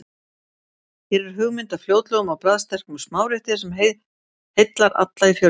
Hér er hugmynd að fljótlegum og bragðsterkum smárétti sem heillar alla í fjölskyldunni.